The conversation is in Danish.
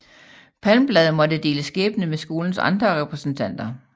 Palmblad måtte dele skæbne med skolens andre repræsentanter